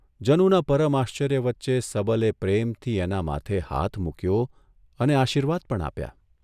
જનુના પરમ આશ્ચર્ય વચ્ચે સબલે પ્રેમથી એના માથે હાથ મૂક્યો અને આશીર્વાદ પણ આપ્યા.